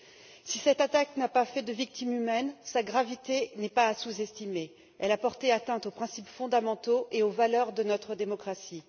Bien que cette attaque n'ait pas fait de victimes humaines, sa gravité n'est pas à sous estimer puisqu'elle a porté atteinte aux principes fondamentaux et aux valeurs de notre démocratie.